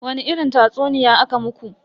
Wani irin tatsuniya aka muku?